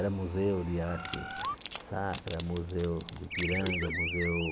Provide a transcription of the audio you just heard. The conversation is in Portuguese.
Era museu de arte sacra, museu de piranga, museu...